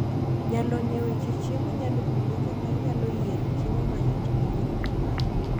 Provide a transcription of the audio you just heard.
Jalony e weche chiemo nyalo konyi kaka inyalo yiero chiemo mayot ne nyiroke magi.